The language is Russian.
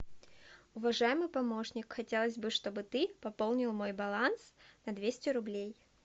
уважаемый помощник хотелось бы чтобы ты пополнил мой баланс на двести рублей